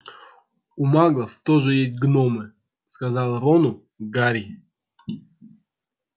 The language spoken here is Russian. у маглов тоже есть гномы сказал рону гарри